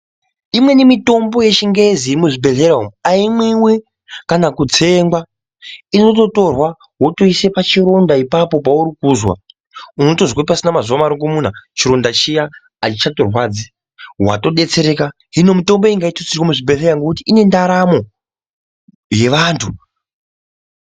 Imweni mitombo yechingezi yemuzvibhedhlera umu aimwiwi kana kutsengwa. Inototorwa wotoise pachironda ipapo paurikuzwa. Unotozwa pasina mazuwa marukumuna chironda chiya achichatorwadzi, watodetsereka. Hino mitombo iyi ngaitutsirwe muzvibhedhlera ngekuti inendaramo, yevantu.